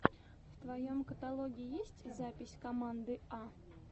в твоем каталоге есть запись команды а